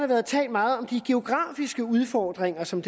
været talt meget om de geografiske udfordringer som